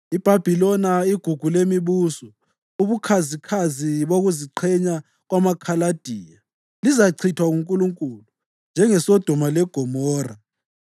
IBhabhiloni, igugu lemibuso, ubukhazikhazi bokuziqhenya kwamaKhaladiya, lizachithwa nguNkulunkulu njengeSodoma leGomora.